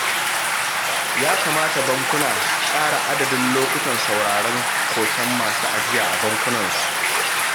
Ya kamata bankuna su ƙara adadin lokutan sauraren koken masu ajiya a bankunansu